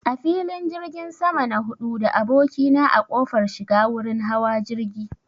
A filin jirgin sama na haɗu da abokina a kofar shiga wurin hawa jirgi